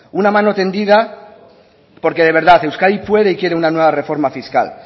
un mano tendida porque de verdad euskadi puede y quiere una nueva reforma fiscal